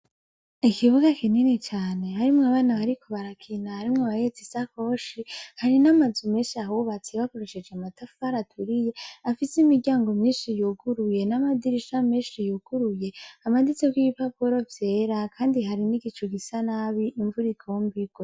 Ikibuga kinini cane, harimwo abana bariko barakina, harimwo n’abahetse isakoshe. Hari n’amazu menshi ahubatse bakoresheje amatafari aturiye, afise imiryango myinshi yuguruye n’amadirisha menshi yuguruye, amanitseko ibipapuro vyera. Kandi hari n’igicu gisa nabi, imvura igomba irwe.